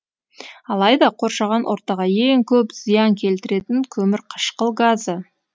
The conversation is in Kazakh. алайда қоршаған ортаға ең көп зиян келтіретін көмірқышқыл газы